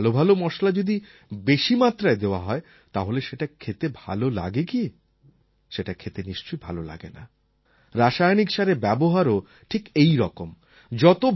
কিন্তু ভাল ভাল মশলা যদি বেশি মাত্রায় দেওয়া হয় তাহলে সেটা খেতে কি ভালো লাগে সেটা খেতে নিশ্চয়ই ভাল লাগে না রাসায়নিক সারের ব্যবহারও ঠিক এই রকম